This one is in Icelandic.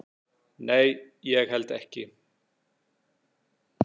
"""Nei, ég held ekki."""